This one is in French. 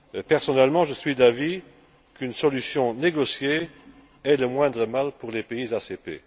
Personnellement, je suis d'avis qu'une solution négociée est le moindre mal pour les pays ACP.